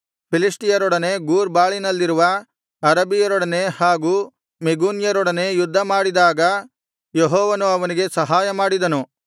ಫಿಲಿಷ್ಟಿಯರೊಡನೆ Gur ಬಾಳಿನಲ್ಲಿರುವ ಅರಬಿಯರೊಡನೆ ಹಾಗು ಮೆಗೂನ್ಯರೊಡನೆ ಯುದ್ಧ ಮಾಡಿದಾಗ ಯೆಹೋವನು ಅವನಿಗೆ ಸಹಾಯ ಮಾಡಿದನು